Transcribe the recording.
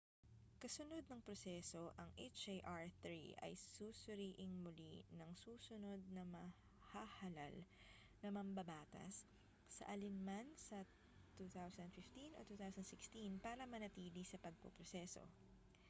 kasunod ng proseso ang hjr-3 ay susuriing muli ng susunod na mahahalal na mambabatas sa alin man sa 2015 o 2016 para manatili sa pagpoproseso